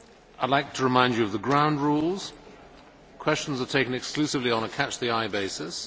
I would like to remind you of the ground rules. Questions are taken exclusively on a catch the eye basis.